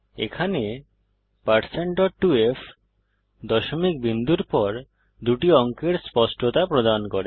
এখানে1602f দশমিক বিন্দুর পর দুটি অঙ্কের স্পষ্টতা প্রদান করে